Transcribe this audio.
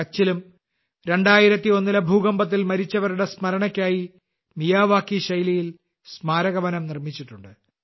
കച്ചിലും 2001ലെ ഭൂകമ്പത്തിൽ മരിച്ചവരുടെ സ്മരണയ്ക്കായി മിയാവാക്കി ശൈലിയിൽ സ്മാരക വനം നിർമിച്ചിട്ടുണ്ട്